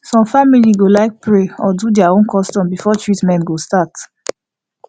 some family go like pray or do their own custom before treatment go start